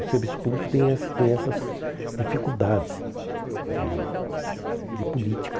O serviço público tem esse tem essas dificuldades de de política.